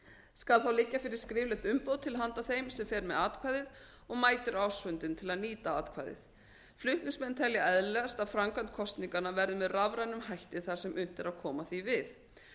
skal þá liggja fyrir skriflegt umboð til handa þeim sem fer með atkvæðið og mætir á ársfundinn til að nýta atkvæðið flutningsmenn telja eðlilegast að framkvæmd kosninganna verði með rafrænum hætti þar sem unnt er að koma því við